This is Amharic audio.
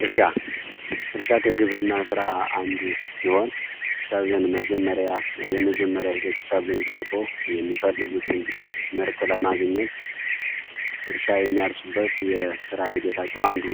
እርሻ እርሻ ከግብርና ስራ አንዱ ሲሆን፤ ሰብልን መጀመርያ የመጀመሪያ ሂደት ሰብልን ዘርቶ የሚፈልጉትን ምርት ለማግኘት እርሻ የሚያርሱበት የስራ ሂደታቸው አንዱ